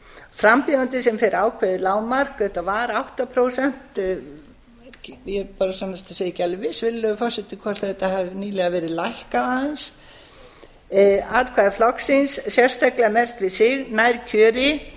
frambjóðandi sem fær ákveðið lágmark þetta var átta prósent ég er bara sannast að segja ekki alveg viss virðulegi forseti hvort þetta hafi nýlega verið lækkað aðeins atkvæði flokksins sérstaklega merkt við sig nær kjöri